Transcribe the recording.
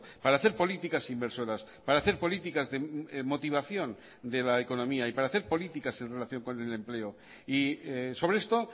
para hacer políticas inversoras para hacer políticas de motivación de la economía y para hacer políticas en relación con el empleo y sobre esto